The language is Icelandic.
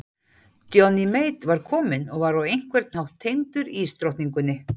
Johnny Mate var kominn og var á einhvern hátt tengdur ísdrottningunni.